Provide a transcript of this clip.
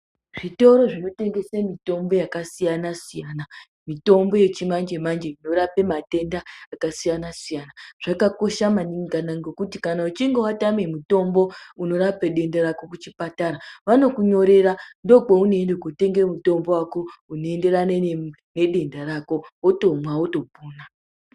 Zvitoro zvinotengesa mitombo yakasiyana siyana mitombo yechimanje manje inorapa matenda akasiyana siyana zvakakosha maningi ngekuti kana uchinge watama mutombo unorapa denda rako kuchipatara vanokunyorera ndokwaunoenda kutenga mutombo wako unoenderana nedenda rako wotomwa wotopora.